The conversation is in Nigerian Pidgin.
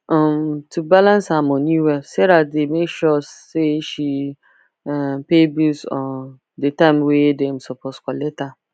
um to balance her money well sarah dey make sure say she um pay bills um the time wey dem suppose collect am